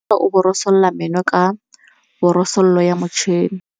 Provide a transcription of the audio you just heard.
Bonolô o borosola meno ka borosolo ya motšhine.